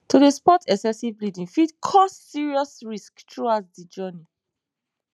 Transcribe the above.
to dey spot excessive bleeding fit cause serious risks throughout de journey